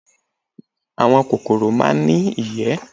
Àwọn kòkòrò máa ń ní ìyẹ́